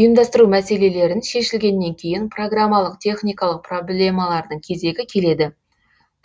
ұйымдастыру мәселелерін шешілгеннен кейін программалық техникалық проблемалардың кезегі келеді